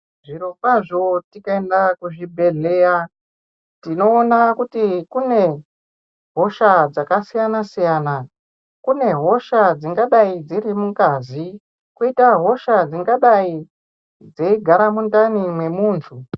Zvirokwazvo tikaenda kuzvibhedhleya tinoona kuti kune hosha dzakasiyana siyana kune hosha dzingadai dziri mungazi koita hosha dzingadai dzeigara mundani mwemuntu.